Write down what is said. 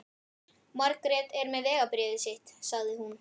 Margrét er með vegabréfið sitt, sagði hún.